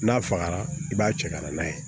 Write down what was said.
N'a fagara i b'a cɛ ka na n'a ye